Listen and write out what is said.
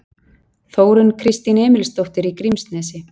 Þórunn Kristín Emilsdóttir í Grímsnesi